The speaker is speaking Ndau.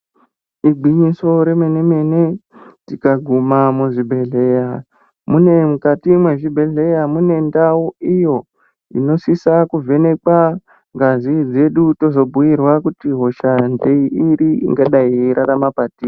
Igwinyiso remene-mene, tikaguma muzvibhedhleya, mune mukati mwezvibhedhleya mune ndau iyo, inosisa kuvhenekwa ngazi dzedu, tozobhuirwa kuti hosha ngeiri ingadai yeirarama patiri.